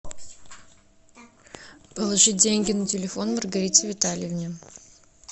положи деньги на телефон маргарите витальевне